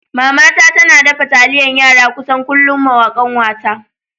Mama ta tana dafa taliyan yara kusan kullum mawa ƙanwata.